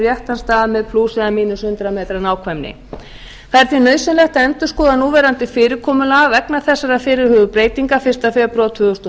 réttan stað með plús eða mínus hundrað metra nákvæmni það er því nauðsynlegt að endurskoða núverandi fyrirkomulag vegna þessarar fyrirhuguðu breytingar fyrsta febrúar tvö þúsund og